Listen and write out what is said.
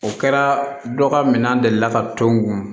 O kɛra dɔ ka minɛn deli la ka to n kun